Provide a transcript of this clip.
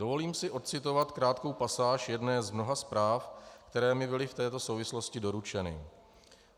Dovolím si ocitovat krátkou pasáž jedné z mnoha zpráv, které mi byly v této souvislosti doručeny.